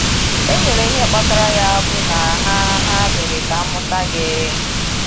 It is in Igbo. E nyere ihe kpatara ya bụ na ha “ ha “ mere ka a mụta gị. ”